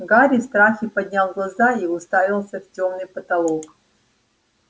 гарри в страхе поднял глаза и уставился в тёмный потолок